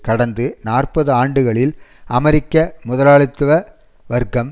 கடந்த நாற்பது ஆண்டுகளில் அமெரிக்க முதலாளித்துவ வர்க்கம்